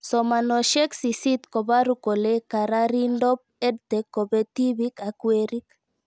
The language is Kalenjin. Somanoshek sisit koparu kole kararindop EdTech kopee tipik ak werik